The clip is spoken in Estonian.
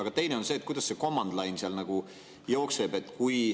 Aga teine on see, et kuidas command line seal jookseb.